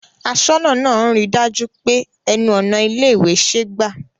Aṣọ́nà náà ń ri dájú pé ẹnu ọ̀nà ilé ìwé ṣe gbà